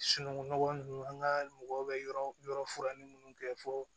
Sunungunɔgɔn ninnu an ka mɔgɔw bɛ yɔrɔ furanni minnu kɛ fo